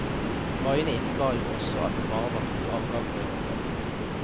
Konvoiene innebar jo også at det bare var to avganger i året.